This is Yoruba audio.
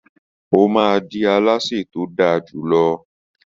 She will be a best cook